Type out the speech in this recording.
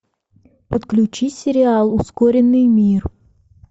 подключи сериал ускоренный мир